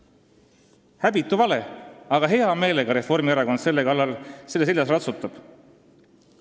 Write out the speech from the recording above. See on häbitu vale, aga Reformierakond selle seljas hea meelega ratsutab.